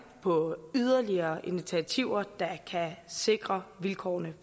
på yderligere initiativer der kan sikre vilkårene